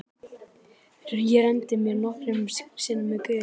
Ég renndi mér nokkrum sinnum eftir götunni.